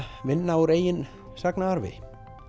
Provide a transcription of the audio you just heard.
vinna úr eigin sagnaarfi